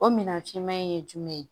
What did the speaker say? O minɛn ciman in ye jumɛn ye